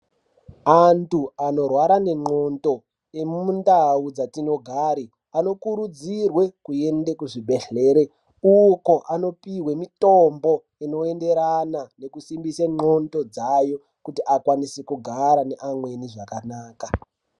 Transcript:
Antu anorwara nengonxo emundau dzatinogara anokurudzirwa kuenda kuzvibhedhlera uko anopihwa mitombo inoenderana nekusimbisa ngonxo dzawo kuti ukwanise kugara neamweni zvakanaka.